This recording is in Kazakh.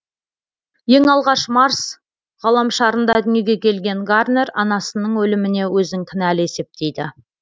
ең алғаш марс ғаламшарында дүниеге келген гарнер анасының өліміне өзін кінәлі есептейді